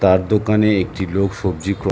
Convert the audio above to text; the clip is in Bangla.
তার দোকানে একটি লোক সবজি ক্র-- ।